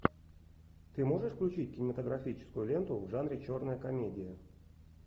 ты можешь включить кинематографическую ленту в жанре черная комедия